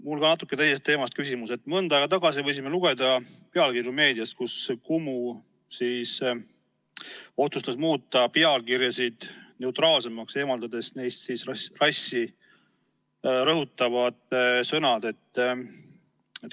Mul on ka natuke teisest teemast küsimus: mõnda aega tagasi võisime lugeda meediast, et Kumu otsustas muuta pealkirjasid neutraalsemaks, eemaldades neist rassi rõhutavad sõnad.